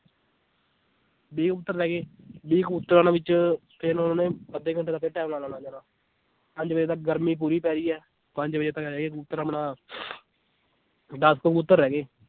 ਵੀਹ ਕਬੂਤਰ ਰਹਿ ਗਏ ਵੀਹ ਵਿੱਚ ਫਿਰ ਉਹਨੇ ਅੱਧੇ ਘੰਟੇ ਦਾ ਫਿਰ time ਲਾ ਦੇਣਾ ਪੰਜ ਵਜੇ ਤੱਕ ਗਰਮੀ ਪੂਰੀ ਪੈ ਰਹੀ ਹੈ ਪੰਜ ਵਜੇ ਤੱਕ ਹਰੇਕ ਕਬੂਤਰ ਆਪਣਾ ਦਸ ਕਬੂਤਰ ਰਹਿ ਗਏ।